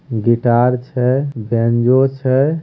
Guitar छै banjo छै।